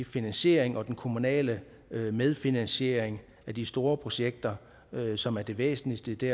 finansiering og den kommunale medfinansiering af de store projekter som er det væsentligste i det